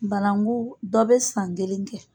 Banangu dɔ bɛ san kelen kɛ.